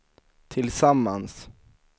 tillsammans